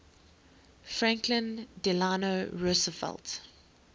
franklin delano roosevelt